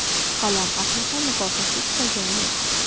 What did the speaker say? Qalam ahli ham mukofotsiz qolgani yo‘q.